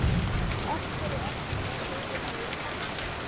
Af hverju ertu svona hrifinn af Esjunni?